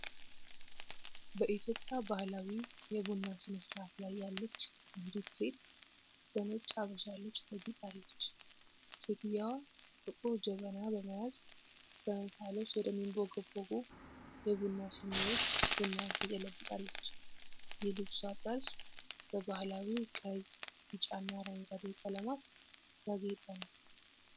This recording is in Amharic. በኢትዮጵያ ባህላዊ የቡና ሥነ-ሥርዓት ላይ ያለች አንዲት ሴት በነጭ ሀበሻ ልብስ ተጊጣለች። ሴትየዋ ጥቁር ጀበና በመያዝ በእንፋሎት ወደሚንቦገቦጉ የቡና ሲኒዎች ቡናውን ትገለብጣለች። የልብሷ ጠርዝ በባህላዊ ቀይ፣ ቢጫና አረንጓዴ ቀለማት ያጌጠ ነው።